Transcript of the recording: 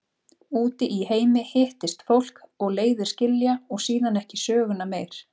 Úti í heimi hittist fólk og leiðir skilja og síðan ekki söguna meir.